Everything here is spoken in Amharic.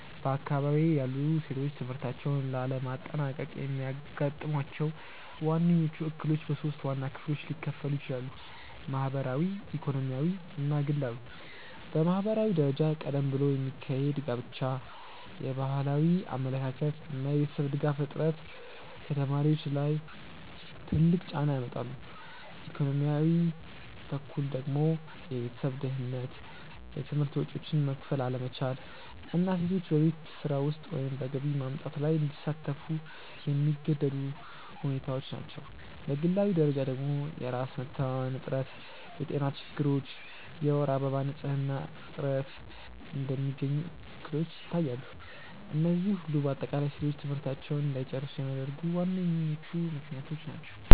በአካባቢዬ ያሉ ሴቶች ትምህርታቸውን ላለማጠናቀቅ የሚያጋጥሟቸው ዋነኞቹ እክሎች በሶስት ዋና ክፍሎች ሊከፈሉ ይችላሉ። ማህበራዊ፣ ኢኮኖሚያዊ እና ግላዊ። በማህበራዊ ደረጃ ቀደም ብሎ የሚካሄድ ጋብቻ፣ የባህላዊ አመለካከት እና የቤተሰብ ድጋፍ እጥረት ከተማሪዎች ላይ ትልቅ ጫና ያመጣሉ፤ ኢኮኖሚያዊ በኩል ደግሞ የቤተሰብ ድህነት፣ የትምህርት ወጪዎችን መክፈል አለመቻል እና ሴቶች በቤት ስራ ወይም በገቢ ማምጣት ላይ እንዲሳተፉ የሚገደዱ ሁኔታዎች ናቸው፤ በግላዊ ደረጃ ደግሞ የራስ መተማመን እጥረት፣ የጤና ችግሮች እና የወር አበባ ንፅህና እጥረት እንደሚገኙ እክሎች ይታያሉ፤ እነዚህ ሁሉ በአጠቃላይ ሴቶች ትምህርታቸውን እንዳይጨርሱ የሚያደርጉ ዋነኞቹ ምክንያቶች ናቸው።